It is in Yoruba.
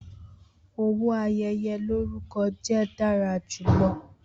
Owo ayeye lorukọ jẹ dara julọ.